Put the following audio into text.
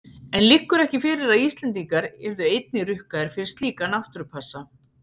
En liggur ekki fyrir að Íslendingar yrðu einnig rukkaðir fyrir slíka náttúrupassa?